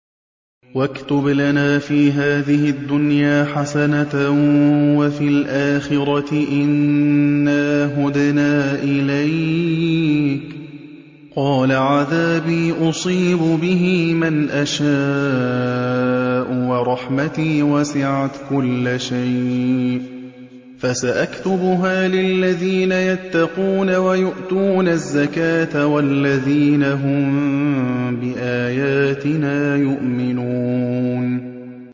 ۞ وَاكْتُبْ لَنَا فِي هَٰذِهِ الدُّنْيَا حَسَنَةً وَفِي الْآخِرَةِ إِنَّا هُدْنَا إِلَيْكَ ۚ قَالَ عَذَابِي أُصِيبُ بِهِ مَنْ أَشَاءُ ۖ وَرَحْمَتِي وَسِعَتْ كُلَّ شَيْءٍ ۚ فَسَأَكْتُبُهَا لِلَّذِينَ يَتَّقُونَ وَيُؤْتُونَ الزَّكَاةَ وَالَّذِينَ هُم بِآيَاتِنَا يُؤْمِنُونَ